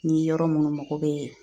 Ni yɔrɔ munnu mako bee